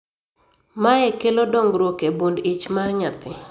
Mae kelo dongruok e bund ich mar nyathi